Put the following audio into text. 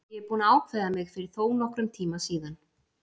Ég er búinn að ákveða mig fyrir þónokkrum tíma síðan.